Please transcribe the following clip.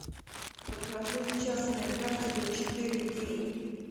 покажи частная практика четыре кей